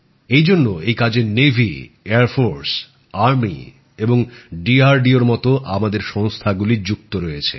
এই জন্য এই কাজে নৌ বিমান ও সেনা বাহিনী এবং ডিআরডিওর মত আমাদের সংস্থাগুলি যুক্ত রয়েছে